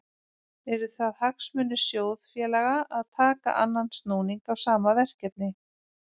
Eru það hagsmunir sjóðfélaga að taka annan snúning á sama verkefni?